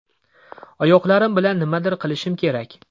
Oyoqlarim bilan nimadir qilishim kerak.